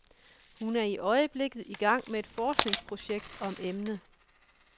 Hun er i øjeblikket i gang med et forskningsprojekt om emnet.